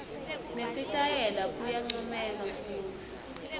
nesitayela kuyancomeka futsi